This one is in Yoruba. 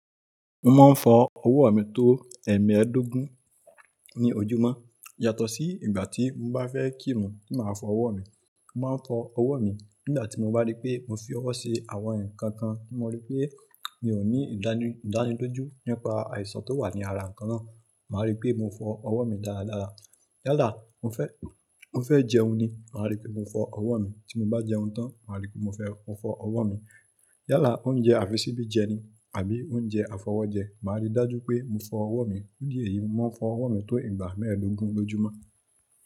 Mo máa ń fọ ọwọ́ mi tó ẹ̀ẹ̀mẹ́ẹ̀dógún ní ojúmọ́ yàtọ̀ sí ìgbà tí mo bá fẹ́ kírun ti màá fọ ọwọ́ mi. Mo máa ń fọ ọwọ́ mi nígbà tí mo bá rí pé mo fi ọwọ́ ṣe àwọn ǹkan kan tí mo rí pé mi ò ní ìdánilójú nípa àìsàn tó wà ní ara ǹkan náà, màá rí pé mo fọ ọwọ́ mi dáradára. Yálà mo fẹ́, mo fẹ́ jẹun ni màá rí pé mo fọ ọwọ́ mi tí mo bá jẹun tán, màá rí pé mo fẹ́, mo fọ ọwọ́ mi. Yálà, oúnjẹ àfisibí jẹ ni àbí oúnjẹ afọwọ́jẹ, màá rí dájú pé mo fọ ọwọ́ mi. Fún ìdí èyí, mo máa ń fọ ọwọ́ mi tó ìgbà mẹ́ẹ̀dógún lójúmọ́.